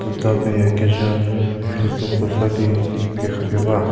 tapie kezha mherhie kropuo sa di rhie pie khapie ba.